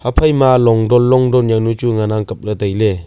haphai ma longdon longdon jaonu chu ngan ang kap le taile.